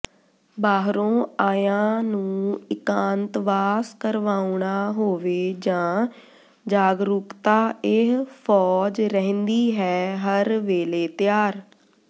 ਬਾਹਰੋਂ ਆਇਆਂ ਨੂੰ ਇਕਾਂਤਵਾਸ ਕਰਵਾਉਣਾ ਹੋਵੇ ਜਾਂ ਜਾਗਰੂਕਤਾ ਇਹ ਫੌਜ ਰਹਿੰਦੀ ਹੈ ਹਰ ਵੇਲੇ ਤਿਆਰ